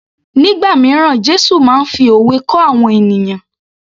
Nígbà míràn Jésù máa ń fi òwe kọ́ àwọn ènìyàn